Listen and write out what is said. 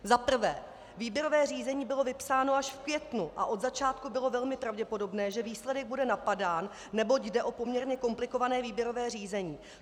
Za prvé: Výběrové řízení bylo vypsáno až v květnu a od začátku bylo velmi pravděpodobné, že výsledek bude napadán, neboť jde o poměrně komplikované výběrové řízení.